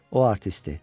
O artistdir.